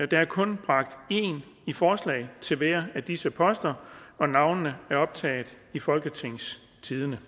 der er kun bragt én i forslag til hver af disse poster og navnene er optaget i folketingstidende